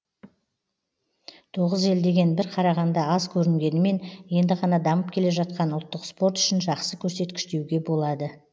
тоғыз ел деген бір қарағанда аз көрінгенімен енді ғана дамып келе жатқан ұлттық спорт үшін жақсы көрсеткіш деуге болады